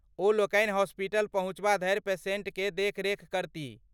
ओलोकनि हॉस्पिटल पहुँचबा धरि पेशेन्टक देखरेख करतीह।